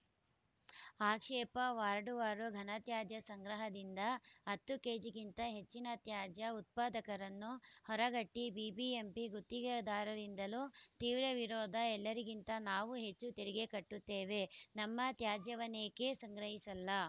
ಆಕ್ಷೇಪ ವಾರ್ಡ್‌ವಾರು ಘನತ್ಯಾಜ್ಯ ಸಂಗ್ರಹದಿಂದ ಹತ್ತು ಕೇಜಿಗಿಂತ ಹೆಚ್ಚಿನ ತ್ಯಾಜ್ಯ ಉತ್ಪಾದಕರನ್ನು ಹೊರಗಿಟ್ಟ ಬಿಬಿಎಂಪಿ ಗುತ್ತಿಗೆದಾರರಿಂದಲೂ ತೀವ್ರ ವಿರೋಧ ಎಲ್ಲರಿಗಿಂತ ನಾವು ಹೆಚ್ಚು ತೆರಿಗೆ ಕಟ್ಟುತ್ತೇವೆ ನಮ್ಮ ತ್ಯಾಜ್ಯವನ್ನೇಕೆ ಸಂಗ್ರಹಿಸಲ್ಲ